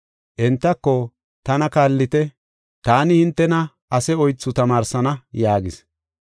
Entako, “Tana kaallite; taani hintena ase oythu tamaarsana” yaagis.